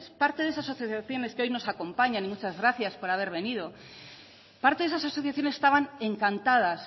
parte de esas asociaciones que hoy nos acompañan y muchas gracias por haber venido parte de esas asociaciones estaban encantadas